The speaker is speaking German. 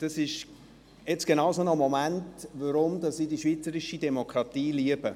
Das ist jetzt genauso ein Moment, weshalb ich die schweizerische Demokratie liebe.